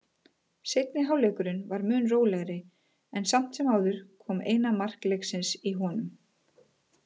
Seinni hálfleikurinn var mun rólegri en samt sem áður kom eina mark leiksins í honum.